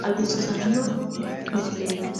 xawissanno sagalete mineeti.